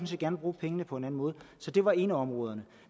set gerne bruge pengene på en anden måde så det var et af områderne